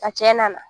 A cɛ nana